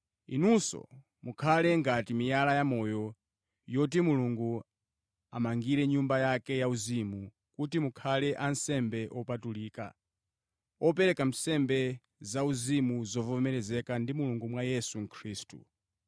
inunso, mukhale ngati miyala ya moyo yoti Mulungu amangire nyumba yake yauzimu kuti mukhale ansembe opatulika, opereka nsembe zauzimu zovomerezeka ndi Mulungu mwa Yesu Khristu.